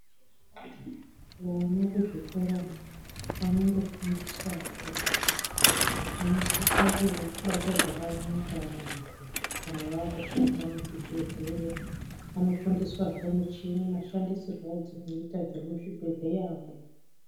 Vana kuzvikorayo vanondofundiswa zve kuti vanosisa kubata zvakanaka vantu kana vakushanda muzvibhedhleya anofundiswazve muchini mashandisirwe adzinoita dzemu chibhedhleya mwo.